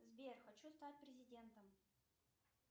сбер хочу стать президентом